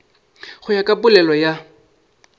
go ya ka polelo ya